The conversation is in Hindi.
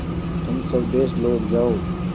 तुम स्वदेश लौट जाओ